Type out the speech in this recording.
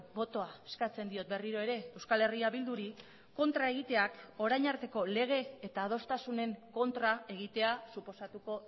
botoa eskatzen diot berriro ere euskal herria bilduri kontra egiteak orain arteko lege eta adostasunen kontra egitea suposatuko